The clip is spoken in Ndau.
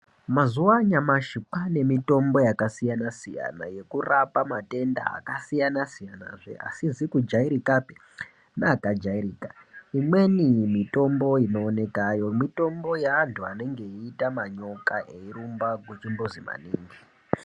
Mazuva anyamashi kwane mitombo yakasiyana-siyana, yekurapa matenda akasiyana-siyanazve asizi kujairikapi neakajairika. Imweni mitombo inooneka yemitombo yeantu anonga eiita manyoka eirumba kuchimbuzi maningi.